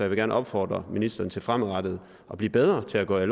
vil gerne opfordre ministeren til fremadrettet at blive bedre til at gå i